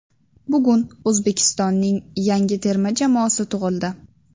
Bugun O‘zbekistonning yangi terma jamoasi tug‘ildi.